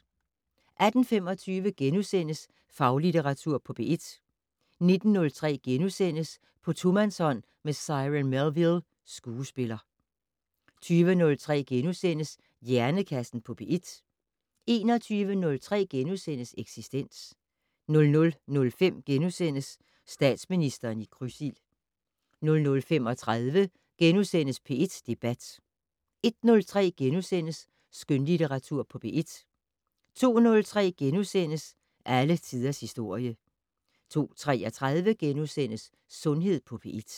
18:25: Faglitteratur på P1 * 19:03: På tomandshånd med Cyron Melville, skuespiller * 20:03: Hjernekassen på P1 * 21:03: Eksistens * 00:05: Statsministeren i krydsild * 00:35: P1 Debat * 01:03: Skønlitteratur på P1 * 02:03: Alle tiders historie * 02:33: Sundhed på P1 *